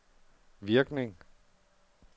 virkning